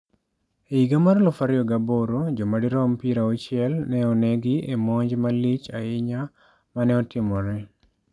E higa mar 2008 joma dirom 60 ne onegi e monj malich ahinya ma ne otimore.